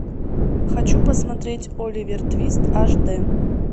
хочу посмотреть оливер твист аш д